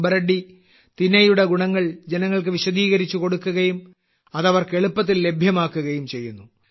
സുബ്ബ റെഡ്ഡി തിനയുടെ ഗുണങ്ങൾ ജനങ്ങൾക്ക് വിശദീകരിച്ച് കൊടുക്കുകയും അത് അവർക്ക് എളുപ്പത്തിൽ ലഭ്യമാക്കുകയും ചെയ്യുന്നു